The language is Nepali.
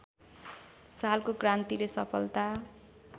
सालको क्रान्तिले सफलता